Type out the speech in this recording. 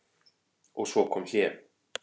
Og svo kom hlé.